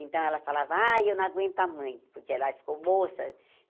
Então, ela falava, ai, eu não aguento a mãe, porque ela aí ficou moça.